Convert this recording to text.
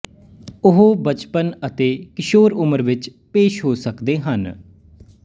ਉਹ ਬਚਪਨ ਅਤੇ ਕਿਸ਼ੌਰ ਉਮਰ ਵਿੱਚ ਪੇਸ਼ ਹੋ ਸਕਦੇ ਹਨ